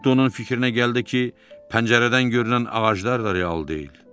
Hətta onun fikrinə gəldi ki, pəncərədən görünən ağaclar da real deyil.